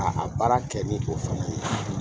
A a baara kɛ ni o fana ye.